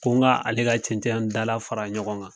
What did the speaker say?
Ko n ka ale ka cɛncɛn dala fara ɲɔgɔn kan